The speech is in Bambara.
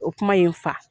O kuma ye n fa